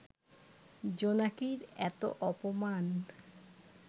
জোনাকির এত অপমান